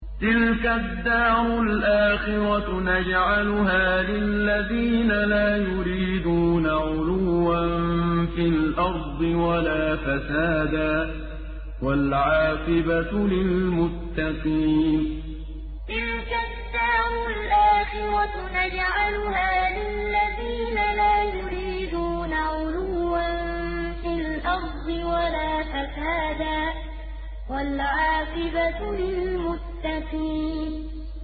تِلْكَ الدَّارُ الْآخِرَةُ نَجْعَلُهَا لِلَّذِينَ لَا يُرِيدُونَ عُلُوًّا فِي الْأَرْضِ وَلَا فَسَادًا ۚ وَالْعَاقِبَةُ لِلْمُتَّقِينَ تِلْكَ الدَّارُ الْآخِرَةُ نَجْعَلُهَا لِلَّذِينَ لَا يُرِيدُونَ عُلُوًّا فِي الْأَرْضِ وَلَا فَسَادًا ۚ وَالْعَاقِبَةُ لِلْمُتَّقِينَ